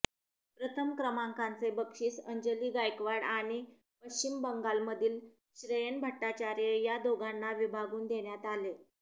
प्रथम क्रमांकाचे बक्षीस अंजली गायकवाड आणि पश्चिम बंगालमधील श्रेयन भट्टाचार्य या दोघांना विभागून देण्यात आले